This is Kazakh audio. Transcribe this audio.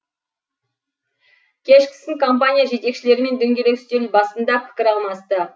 кешкісін компания жетекшілерімен дөңгелек үстел басында пікір алмасты